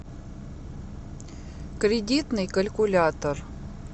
кредитный калькулятор